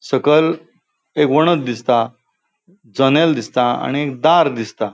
सकल एक वणद दिसता जन्येल दिसता आणि एक दार दिसता.